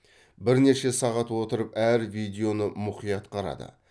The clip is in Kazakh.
бірнеше сағат отырып әр видеоны мұқият қарады